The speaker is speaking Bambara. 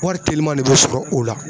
Wari telima de bɛ sɔrɔ o la